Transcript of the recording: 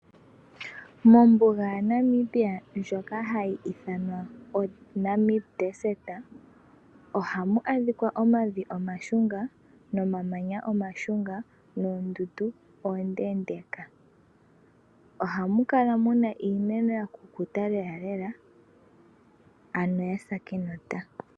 Mombuga ya Namibia ndjoka hayi ithanwa Namib Desert oha mu adhikwa omavi omashunga, omamanya omashunnga, noondundu oondeendeka. Oha mu kala muna iimeno ya kukuta lela lela, ano ya sa enota.